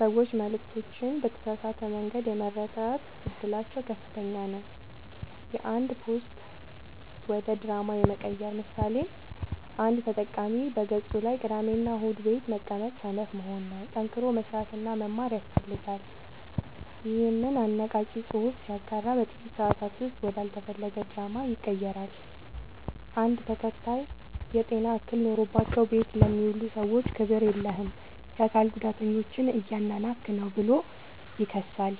ሰዎች መልዕክቶችን በተሳሳተ መንገድ የመረዳት እድላቸው ከፍተኛ ነው። የአንድ ፖስት ወደ ድራማ የመቀየር ምሳሌ፦ አንድ ተጠቃሚ በገፁ ላይ "ቅዳሜና እሁድ ቤት መቀመጥ ሰነፍ መሆን ነው፣ ጠንክሮ መስራትና መማር ያስፈልጋል" ይኸንን አነቃቂ ፅሑፍ ሲያጋራ በጥቂት ሰአታት ውስጥ ወደ አልተፈለገ ድራማ ይቀየራል። አንድ ተከታይ "የጤና እክል ኖሮባቸው ቤት ለሚውሉ ሰዎች ክብር የለህም! የአካል ጉዳተኞችን እያናናቅህ ነው ብሎ ይከሳል።